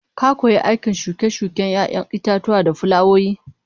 Ka koyi aikin shuke-shuken 'ya'yan itatuwa da fulawoyi